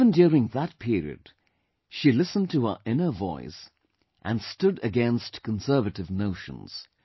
Even during that period, she listened to her inner voice and stood against conservative notions